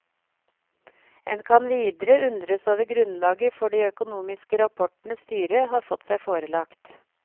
En kan videre undres over grunnlaget for de økonomiske rapportene styret har fått seg forelagt.